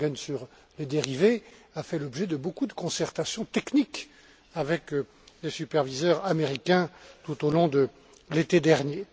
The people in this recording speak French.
Langen, sur les dérivés a fait l'objet de beaucoup de concertations techniques avec les superviseurs américains, tout au long de l'été dernier.